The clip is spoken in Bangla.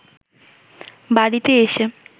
বাড়িতে এসে